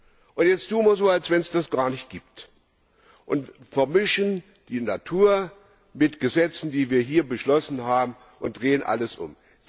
Und jetzt tun wir so, als wenn es das gar nicht gibt, und vermischen die Natur mit Gesetzen, die wir hier beschlossen haben, und drehen alles um.